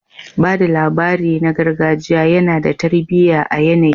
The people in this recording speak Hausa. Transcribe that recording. Ba da labari na gargajiya yana da tarbiyya a yanayi